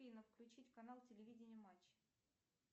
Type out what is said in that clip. афина включить канал телевидение матч